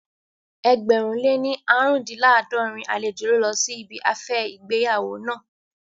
Ẹgbẹ̀rún lé ní aarundinlaadorin àlejò ló lọ sí ibi afẹ́ ìgbéyàwó naa